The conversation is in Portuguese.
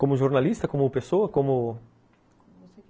Como jornalista, como pessoa, como... Como você quiser.